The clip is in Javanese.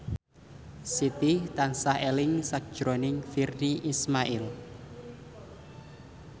Siti tansah eling sakjroning Virnie Ismail